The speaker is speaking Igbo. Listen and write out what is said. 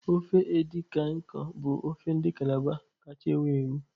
Ofe edi kan ikong bụ ofe ndị Calabar kacha ewu ewu.